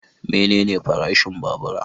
Menene farashin babura?